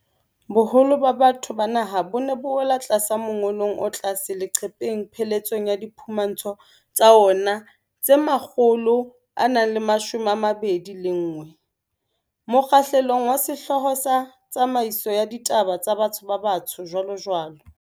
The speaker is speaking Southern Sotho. Boholo ba batho ba naha bo ne bo wela tlasa mongolong o tlase leqepheng pheletsong ya diphumantsho tsa ona tse 121, mokgahlelong wa sehlooho sa 'Tsamaiso ya Ditaba tsa Batho-Batsho, jwalojwalo.'